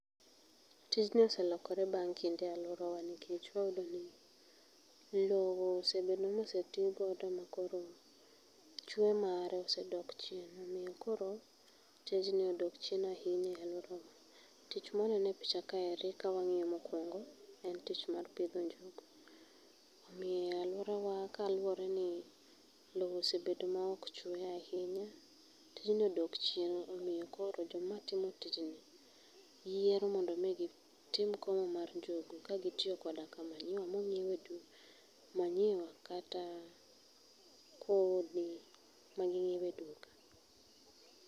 Tijni oselokore bang' kinde e aluora nikech wayudo ni loo osebedo moseti godo makoro chwe mare osedok chien, omiyo koro tijni odok chien ahinya e aluorawa .Tich mwaneno e picha kae ni kawang'iyo mokuongo en tich mar pidho njugu, omiyo aluorawa kaluore ni loo osebedo maok chwe ahinya yijni odok chien omiyo koro joma tiyo tijni yiero mondo mi gitim komo mar njugu kagitiyo koda ka manyiwa monyiew e duka, manyiwa kata kodhi ma gingi'ew e duka